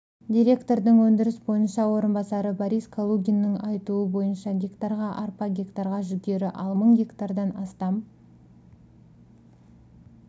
директордың өндіріс бойынша орынбасары борис калугиннің айтуы бойынша гектарға арпа гектарға жүгері ал мың гектардан астам